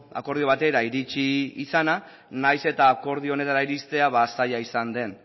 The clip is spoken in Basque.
akordio batera iritzi izana nahiz eta akordio honetara iristea zaila izan den